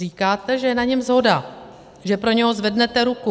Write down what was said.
Říkáte, že je na něm shoda, že pro něj zvednete ruku.